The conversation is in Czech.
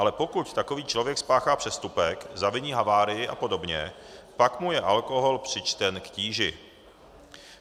Ale pokud takový člověk spáchá přestupek, zaviní havárii a podobně, pak mu je alkohol přičten k tíži.